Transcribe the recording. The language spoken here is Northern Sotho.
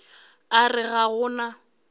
a re ga go na